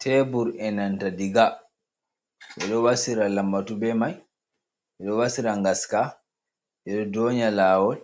Tebur e'nanta diga. Ɓeɗo wasira lambatu be mai, ɓeɗo wasira ngaska, ɓeɗo donya lawol,